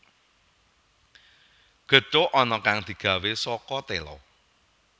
Gethuk ana kang digawé saka téla